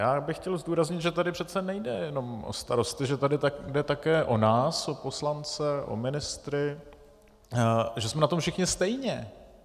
Já bych chtěl zdůraznit, že tady přece nejde jenom o starosty, že tady jde také o nás, o poslance, o ministry, že jsme na tom všichni stejně.